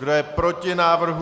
Kdo je proti návrhu?